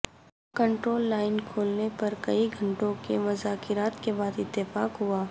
control line کھولنے پر کئی گھنٹوں کے مذاکرات کے بعد اتفاق ہوا